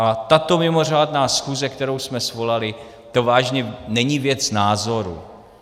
A tato mimořádná schůze, kterou jsme svolali, to vážně není věc názoru.